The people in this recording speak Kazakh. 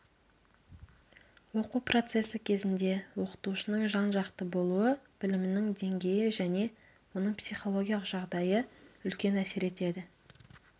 оқу процесі кезінде оқытушының жан-жақты болуы білімінің деңгейі және оның психологиялық жағдайы үлкен әсер етеді